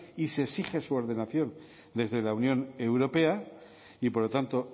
y se exige su ordenación desde la unión europea y por lo tanto